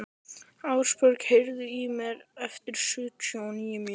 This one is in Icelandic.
Árbjörg, heyrðu í mér eftir sjötíu og níu mínútur.